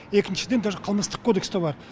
екіншіден даже қылмыстық кодекста бар